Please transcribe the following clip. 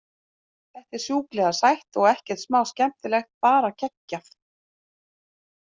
Þetta er sjúklega sætt og ekkert smá skemmtilegt, bara geggjað.